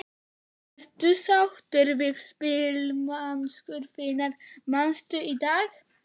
Ertu sáttur við spilamennsku þinna manna í dag?